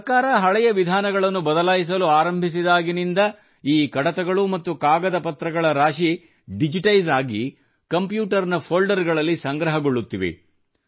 ಸರ್ಕಾರ ಹಳೆಯ ವಿಧಾನಗಳನ್ನು ಬದಲಾಯಿಸಲು ಆರಂಭಿಸಿದಾಗಿನಂದ ಈ ಕಡತಗಳು ಮತ್ತು ಕಾಗದಪತ್ರಗಳ ರಾಶಿ ಡಿಜಿಟೈಸ್ ಆಗಿ ಕಂಪ್ಯೂಟರ್ ನ ಫೋಲ್ಡರ್ ಗಳಲ್ಲಿ ಸಂಗ್ರಹಗೊಳ್ಳುತ್ತಿವೆ